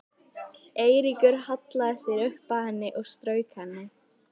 Eiríkur hallaði sér upp að henni og strauk henni.